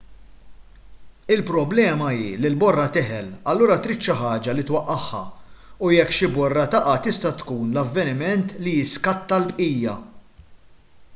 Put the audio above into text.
il-problema hi li l-borra teħel allura trid xi ħaġa li twaqqagħha u jekk xi borra taqa' tista' tkun l-avveniment li jiskatta l-bqija